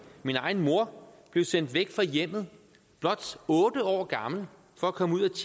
min egen mor blev sendt væk fra hjemmet blot otte år gammel for at komme ud og